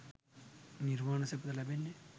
නිර්වාණ සැපත ලැබෙන්නේ